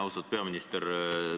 Austatud peaminister!